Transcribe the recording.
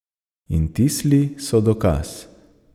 In ti sli so dokaz.